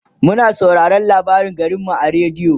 muna sauraraon labarin garinmu a radio